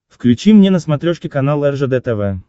включи мне на смотрешке канал ржд тв